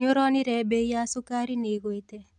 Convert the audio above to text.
Nĩũronire mbei ya cukari nĩigwĩte?